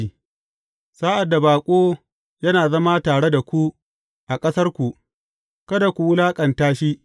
Sa’ad da baƙo yana zama tare da ku a ƙasarku, kada ku wulaƙanta shi.